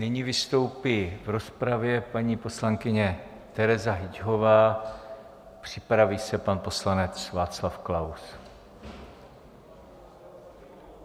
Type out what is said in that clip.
Nyní vystoupí v rozpravě paní poslankyně Tereza Hyťhová, připraví se pan poslanec Václav Klaus.